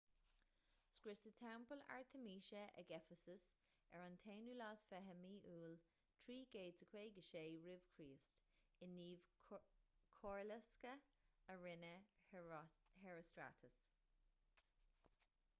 scriosadh teampall artaimíse ag eifeasas ar an 21 iúil 356 r.ch i ngníomh coirlosctha a rinne herostratus